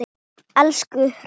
Elstu hraun